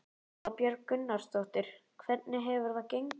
Erla Björg Gunnarsdóttir: Hvernig hefur það gengið?